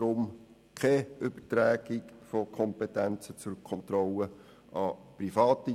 Deswegen: Keine Übertragung von Kompetenzen zur Kontrolle an Private.